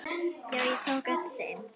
Já, ég tók eftir þeim.